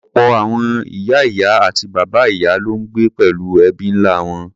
Ọ̀pọ̀ àwọn ìyá-ìyá àti bàbá-ìyá ló ń gbé pẹ̀lú ẹbí ńlá wọn.